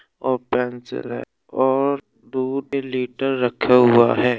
और पेंसिल है और दूध लीटर रखा हुआ है।